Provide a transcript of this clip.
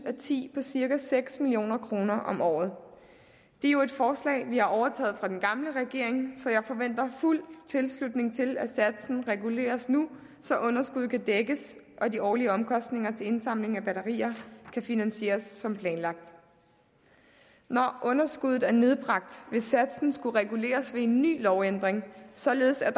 og ti på cirka seks million kroner om året det er jo et forslag vi har overtaget fra den gamle regering så jeg forventer fuld tilslutning til at satsen reguleres nu så underskuddet kan dækkes og de årlige omkostninger til indsamling af batterier kan finansieres som planlagt når underskuddet er nedbragt vil satsen skulle reguleres ved en ny lovændring således at